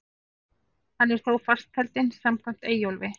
Hann er þó fastheldinn samkvæmt Eyjólfi.